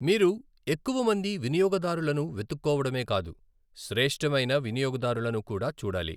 మీరు ఎక్కువ మంది వినియోగదారులను వెతుక్కోవడమే కాదు, శ్రేష్టమైన వినియోగదారులను కూడా చూడాలి.